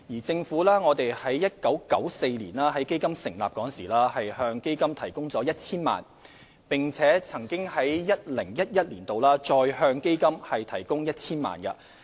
政府在1994年成立基金時曾向基金注資撥款 1,000 萬元，並曾在 2010-2011 年度再向基金提供 1,000 萬元。